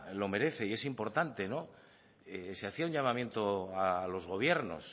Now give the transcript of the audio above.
lo merece y es importante no se hacía un llamamiento a los gobiernos